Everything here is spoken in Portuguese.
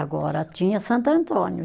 Agora tinha Santo Antônio.